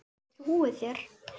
Ég trúi þér